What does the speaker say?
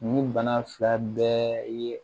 Nin bana fila bɛɛ ye